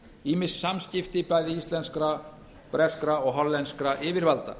ýmis samskipti bæði íslenskra breskra og hollenskra yfirvalda